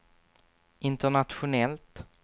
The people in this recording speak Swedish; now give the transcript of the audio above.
internationellt